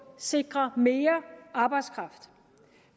sikrer mere arbejdskraft